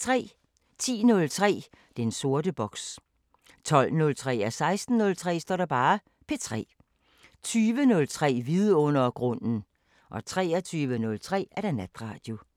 10:03: Den sorte boks 12:03: P3 16:03: P3 20:03: Vidundergrunden 23:03: Natradio